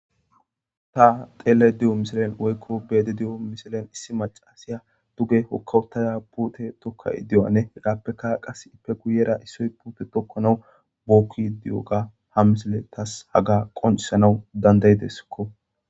Ta xeele di7o misilen woykko beede di7o misilen issi macaasiya duge hokkawutaya puute tokka idiyoane hiraappeka qas ippe guyera issoy puute tokkana bookki di7oga ha misile tas haga qoncisanaw dandayideskko